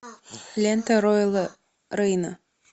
лента роэла рейна